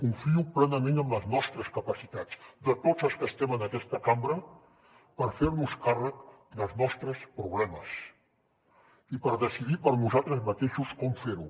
confio plenament en les nostres capacitats de tots els que estem en aquesta cambra per fer nos càrrec dels nostres problemes i per decidir per nosaltres mateixos com fer ho